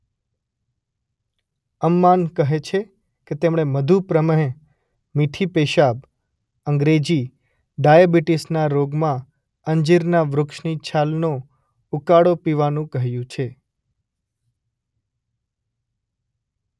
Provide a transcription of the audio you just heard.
અમ્માન કહે છે કે તેમણે મધુપ્રમેહ મીઠી પેશાબ અંગ્રેજી ડાયાબિટીસ ના રોગમાં અંજીરના વૃક્ષની છાલનો ઉકાળો પીવાનું કહ્યું છે.